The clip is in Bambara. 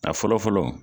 A fɔlɔ fɔlɔ